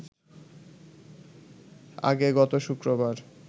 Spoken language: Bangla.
আগে গত শুক্রবার